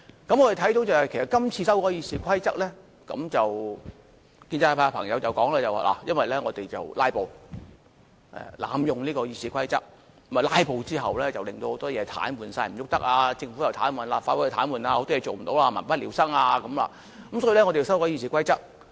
我們看到的是，其實就今次修改《議事規則》的建議，建制派朋友表示，因為我們"拉布"，濫用《議事規則》，"拉布"之後令到很多事情癱瘓，政府又癱瘓，立法會又癱瘓，許多事情做不到，民不聊生，因此要修改《議事規則》。